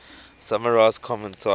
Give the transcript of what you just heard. summarize common types